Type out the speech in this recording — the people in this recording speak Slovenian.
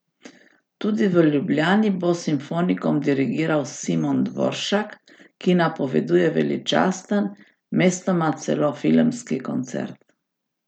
Tudi v Ljubljani bo simfonikom dirigiral Simon Dvoršak, ki napoveduje veličasten, mestoma celo filmski koncert.